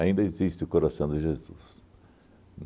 existe o Coração de Jesus.